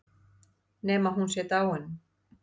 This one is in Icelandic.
Nema hún sé dáin.